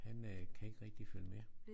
Han øh kan ikke rigtigt følge med